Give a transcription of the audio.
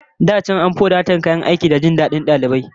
Da can an fi wadatar kayan aiki da jin dadin dalibai